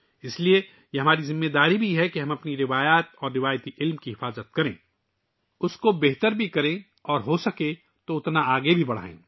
لہٰذا یہ بھی ہماری ذمہ داری ہے کہ ہم اپنی روایات اور روایتی علم کو محفوظ رکھیں، اسے فروغ دیں اور اسے زیادہ سے زیادہ آگے لے جائیں